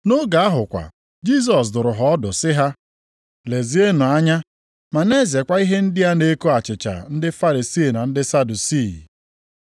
Nʼoge ahụ kwa, Jisọs dụrụ ha ọdụ sị ha, “Lezienụ anya, ma na-ezekwa ihe ndị na-eko achịcha ndị Farisii na ndị Sadusii.”